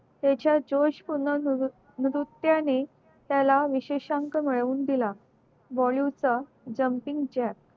त्याच्या जोश पूर्ण नृत्याने विशेषांक मिळवून दिला